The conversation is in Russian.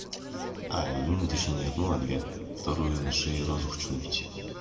ай ну точнее не ну ладно две вторую я на шее розу хочу набить